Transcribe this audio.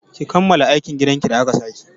Ki kammala aikin gidan ki da aka sa ki!